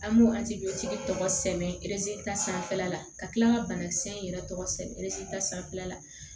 An b'o tɔgɔ sɛbɛn ta sanfɛla la ka kila ka banakisɛ in yɛrɛ tɔgɔ sɛbɛn erezita sanfɛla la